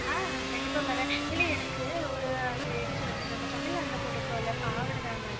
ஆஹ் கண்டிப்பா வரேன். இல்லை எனக்கு ஒரு அது என்ன சொல்றது நம்ம தமிழ்நாட்டுல போட்டுக்குறோம்ல பாவாடை தாவாணி